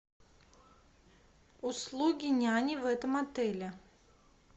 услуги няни в этом отеле